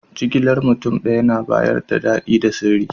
Jigilan mutum daya na bayars da dadi da sirri.